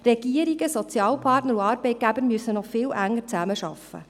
Regierungen, Sozialpartner und Arbeitgeber müssten noch viel enger zusammenarbeiten.